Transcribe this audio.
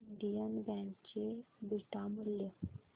Indian bank चे beta मूल्य